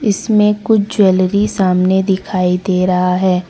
इसमें कुछ ज्वेलरी सामने दिखाई दे रहा है।